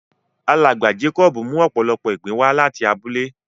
Alágba Jákòbù mú òpòlọ́pọ̀ ìgbìn wà latí àbúlẹ̀.